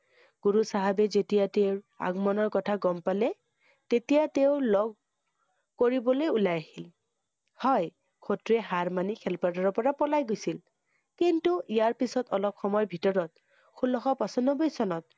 গুৰু চাহাবে যেতিয়া তেওঁৰ আগমণৰ কথা গম পালে, তেতিয়া তেওঁ লগ কৰিবলৈ ওলাই আহিল। হয়, শত্ৰুৱে হাৰ মানি খেল পথাৰৰ পৰা পলাই গৈছল। কিন্তু ইয়াৰ পিছত, অলপ সময়ৰ ভিতৰত, ষোল্লশ পচানব্বৈ চনত